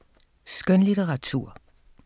Skønlitteratur